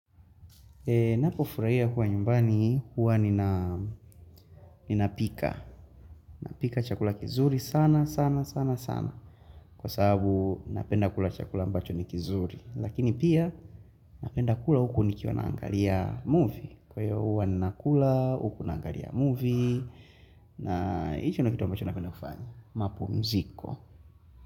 Napo furaia kuwa nyumbani huwa nina pika. Napika chakula kizuri sana sana sana sana. Kwa sababu napenda kula chakula ambacho ni kizuri. Lakini pia napenda kula huko nikiwa naangalia movie. Kwa hiyo huwa nina kula huko nangalia movie. Na hiyo na kitu mbacho napenda kufanya. Mapumziko.